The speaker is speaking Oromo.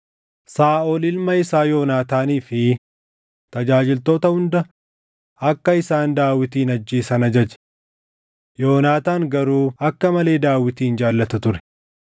Saaʼol ilma isaa Yoonaataanii fi tajaajiltoota hunda akka isaan Daawitin ajjeesan ajaje. Yoonaataan garuu akka malee Daawitin jaallata ture;